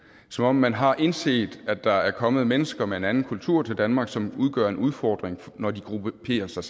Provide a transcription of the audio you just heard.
som om man har indset at der er kommet mennesker med en anden kultur til danmark som udgør en udfordring når de grupperer sig